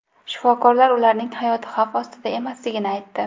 Shifokorlar ularning hayoti xavf ostida emasligini aytdi.